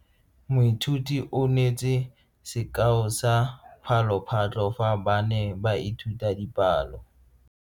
Moithuti o neetse sekao sa palophatlo fa ba ne ba ithuta dipalo.